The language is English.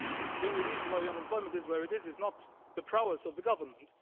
The only reason why unemployment is where it is, is not the prowess of the government